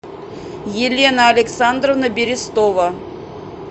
елена александровна берестова